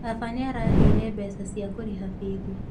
Baba nĩaraheire mbeca cia kũrĩha bithi